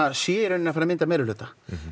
sé í rauninni að fara mynda meirihluta